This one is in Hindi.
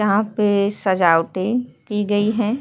यहाँ पे सजावटें की गयी हैं।